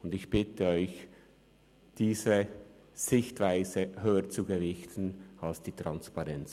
Ich bitte Sie, diese Sichtweise höher zu gewichten als die Transparenz.